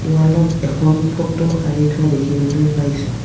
ৱালত এখন ফটো আৰি থোৱা দেখিবলৈ পাইছোঁ।